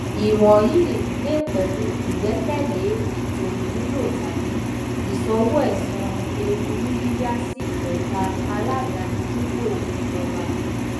iwọnyi le pẹlu igbẹkẹle eto imulo tabi iṣowoẹsan eewu ni yiya si eka aladani dipo ijọba